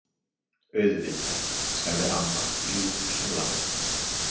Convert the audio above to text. Auðvitað, sagði amma ljúf sem lamb.